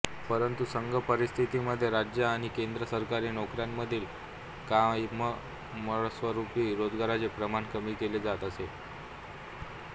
परंतु सद्य परिस्थितीमध्ये राज्य आणि केंद्र सरकारी नोकऱ्यांमधील कायमस्वरूपी रोजगाराचे प्रमाण कमी केले जात आहे